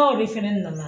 de fɛnɛ nana